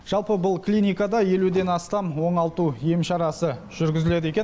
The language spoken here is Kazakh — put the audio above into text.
жалпы бұл клиникада елуден астам оңалту ем шарасы жүргізіледі екен